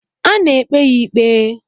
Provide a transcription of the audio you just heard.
A na-ekpe ya ikpe.